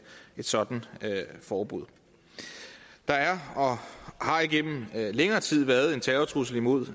et sådant forbud der er og har igennem længere tid været en terrortrussel mod